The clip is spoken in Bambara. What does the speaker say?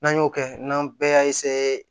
N'an y'o kɛ n'an bɛɛ y'a